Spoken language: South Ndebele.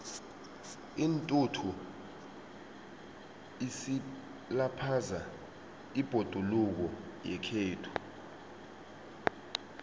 intuthu isilaphaza ibhoduluko yekhethu